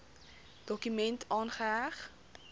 dokument aangeheg